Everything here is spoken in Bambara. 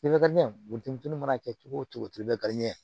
Buteni mana kɛ cogo o cogo i bɛ kariɲɛ